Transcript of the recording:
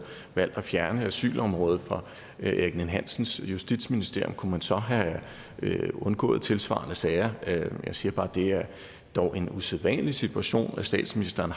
valgt at fjerne asylområdet fra erik ninn hansens justitsministerium kunne man så have undgået tilsvarende sager jeg siger bare at det dog er en usædvanlig situation statsministeren